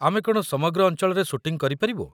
ଆମେ କ'ଣ ସମଗ୍ର ଅଞ୍ଚଳରେ ସୁଟିଂ କରିପାରିବୁ?